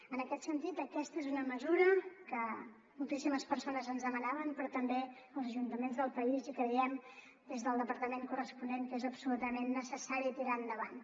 en aquest sentit aquesta és una mesura que moltíssimes persones ens demanaven però també els ajuntaments del país i creiem des del departament corresponent que és absolutament necessari tirar la endavant